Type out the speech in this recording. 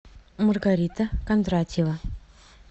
маргарита кондратьева